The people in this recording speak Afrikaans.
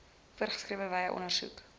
voorgeskrewe wyse ondersoek